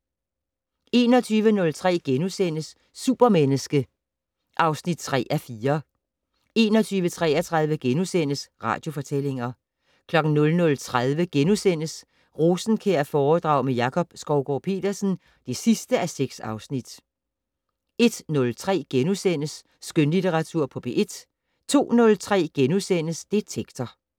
21:03: Supermenneske (3:4)* 21:33: Radiofortællinger * 00:30: Rosenkjærforedrag med Jakob Skovgaard-Petersen (6:6)* 01:03: Skønlitteratur på P1 * 02:03: Detektor *